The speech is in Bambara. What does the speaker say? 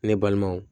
Ne balimaw